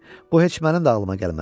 Bu heç mənim də ağlıma gəlməzdi.